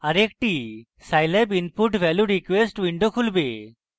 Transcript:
আরেকটি scilab input value request window খুলবে